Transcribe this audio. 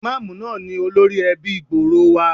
Ìmáàmù náà ni olórí ẹbí gbòòrò wa.